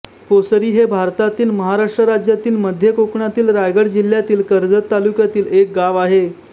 पोसरी हे भारतातील महाराष्ट्र राज्यातील मध्य कोकणातील रायगड जिल्ह्यातील कर्जत तालुक्यातील एक गाव आहे